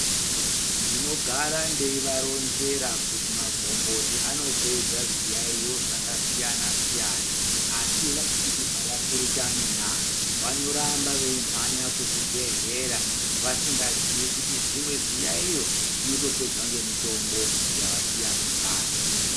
Ndinogara ndivaronzera kuti magomboti anopedza zviyayiyo zvakasiyana siyana asi havakurutani na?vanoramba beyimhanya kuzvibhedlera vasinga zivi kuti zvimwe zviyayiyo zvinotopedzwa ngemitombo yavasiya kumbatso.